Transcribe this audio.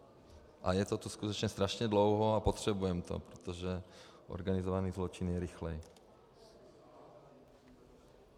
A je to tu skutečně strašně dlouho a potřebujeme to, protože organizovaný zločin je rychlý.